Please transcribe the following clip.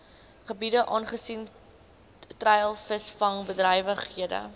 gebiede aangesien treilvisvangbedrywighede